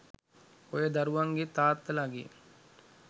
ඔය දරුවන්ගෙ තාත්තලගෙ